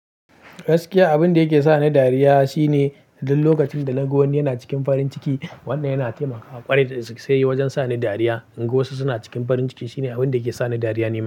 Gaskiya abin da yake sa ni dariya shine duk lokacin da na ga wani yana cikin farin ciki. Wannan yana taimakawa ƙwarai da gaske wajen sa ni dariya. In ga wasu suna cikin farin ciki shine abin da ke sa ni dariya ne.